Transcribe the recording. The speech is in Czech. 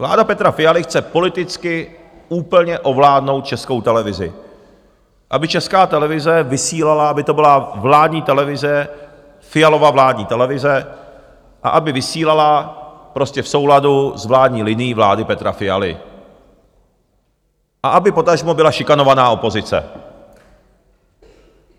Vláda Petra Fialy chce politicky úplně ovládnout Českou televizi, aby Česká televize vysílala, aby to byla vládní televize, Fialova vládní televize, a aby vysílala prostě v souladu s vládní linií vlády Petra Fialy a aby potažmo byla šikanována opozice.